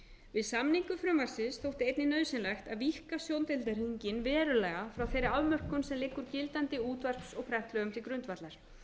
við samningu frumvarpsins þótti einnig nauðsynlegt að víkka sjóndeildarhringinn verulega frá þeirri afmörkun sem liggur gildandi útvarps og prentmiðlum til grundvallar